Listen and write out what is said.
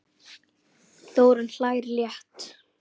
Þórunn hlær létt.